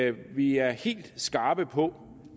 at vi er helt skarpe på